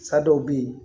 Sa dɔw bɛ yen